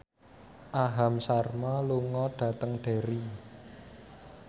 Aham Sharma lunga dhateng Derry